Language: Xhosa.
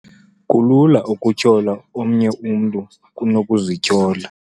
Kulula ukutyhola omnye umntu kunokuzityhola.